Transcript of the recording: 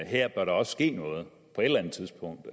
her bør der også ske noget på et eller andet tidspunkt